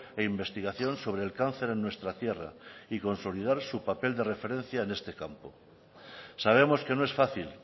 e investigación sobre el cáncer en nuestra tierra y consolidar su papel de referencia en este campo sabemos que no es fácil